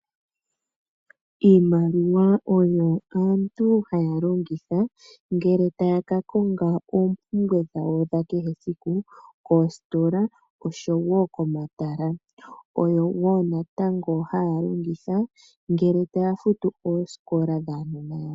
Iimaliwa oyo aantu haya longitha ngele taya kakonga oompumbwe dhawo dhakehe esiku koostola oshowo komatala. Oyo ngaa natango haya longitha ngele taya futu oosikola dhuunona wayo.